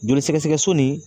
Joli sɛgɛsɛgɛ so nin